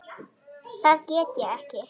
Það get ég ekki.